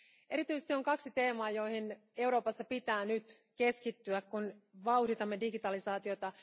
Erityisesti on kaksi teemaa, joihin Euroopassa pitää nyt keskittyä, kun vauhditamme digitalisaatiota.